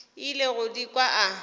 ile go di kwa a